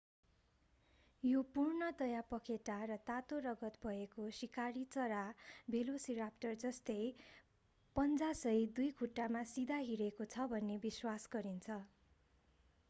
यो पूर्णतया पखेटा र तातो रगत भएको शिकारी चरा भेलोसिराप्टर जस्तै पञ्जासहित दुई खुट्टामा सिधा हिँडेको छ भन्ने विश्वास गरिन्छ